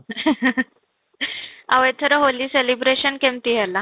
ଆଉ ଏଥର ହୋଲି celebration କେମିତି ହେଲା?